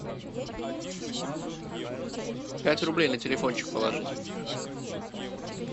пять рублей на телефончик положить